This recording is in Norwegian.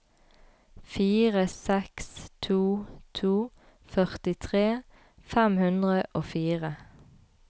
fire seks to to førtitre fem hundre og fire